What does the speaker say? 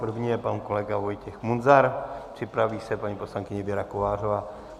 První je pan kolega Vojtěch Munzar, připraví se paní poslankyně Věra Kovářová.